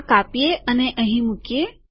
આ કાપીએ અને અહીં મુકીએ